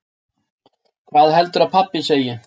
Hvað heldurðu að pabbi segi?